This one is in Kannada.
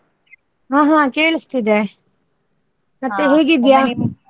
ಹಾ ಹಾ ಕೇಳಿಸ್ತಿದೆ. ಮತ್ತೆ ಹೇಗಿದ್ಯಾ?